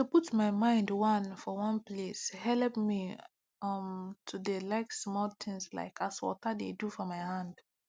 to put my mind one for one place helep me um to d like smoll tins like as water de do for hand